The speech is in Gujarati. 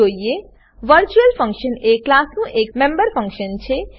વર્ચ્યુઅલ વર્ચ્યુઅલ ફંક્શન એ ક્લાસનું એક મેમ્બર ફંક્શન છે